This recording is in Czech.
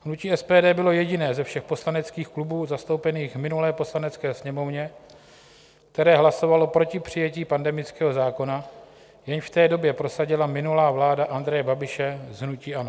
Hnutí SPD bylo jediné ze všech poslaneckých klubů zastoupených v minulé Poslanecké sněmovně, které hlasovalo proti přijetí pandemického zákona, jejž v té době prosadila minulá vláda Andreje Babiše z hnutí ANO.